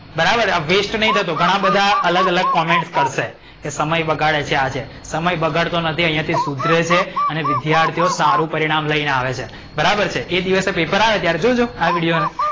બરાબર વેસ્ટ નઇ થતો ઘણા બધા અલગ અલગ comment કરશે. સમય બગાડે છે આજે સમય બગડતો નથી સુધરે છે અને વિધ્યાર્થીઓ સારું પરિણામ લઈને આવે છે. બરાબર છે એ દિવસે પેપર આવે ત્યારે જોજો આ વિડિયોને.